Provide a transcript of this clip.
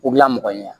U bila mɔgɔ ɲɛ